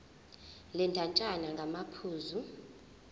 le ndatshana ngamaphuzu